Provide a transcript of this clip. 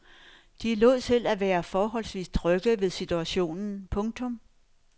De lod til at være forholdsvis trygge ved situationen. punktum